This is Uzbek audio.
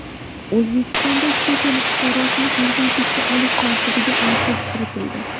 O‘zbekistonda chet el fuqarosini farzandlikka olish tartibiga aniqlik kiritildi.